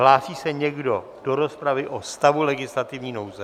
Hlásí se někdo do rozpravy o stavu legislativní nouze?